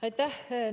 Aitäh!